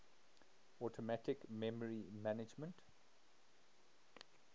automatic memory management